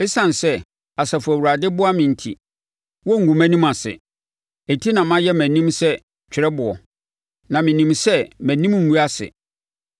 Esiane sɛ, Asafo Awurade boa me enti, wɔrengu mʼanim ase. Enti na mayɛ mʼanim sɛ twerɛboɔ, na menim sɛ mʼanim rengu ase.